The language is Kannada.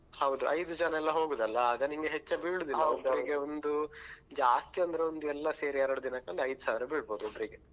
ಹೌದು ಐದು ಜನಲ್ಲಾ ಹೋಗುದಲ್ಲಾ ಆಗ ನಿಂಗೆ ಹೆಚ್ಚ ಬೀಳುದಿಲ್ಲಾ ಒಬ್ರಿಗೆ ಒಂದು ಜಾಸ್ತಿ ಅಂದ್ರೆ ಒಂದು ಎಲ್ಲಾ ಸೇರಿ ಎರಡು ದಿನಕ್ಕೆ ಒಂದ್ ಐದು ಸಾವಿರ ಬೀಳ್ಬೋದು ಒಬ್ರಿಗೆ